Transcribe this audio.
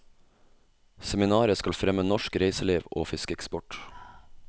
Seminaret skal fremme norsk reiseliv og fiskeeksport.